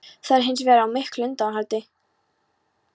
Það er hins vegar á miklu undanhaldi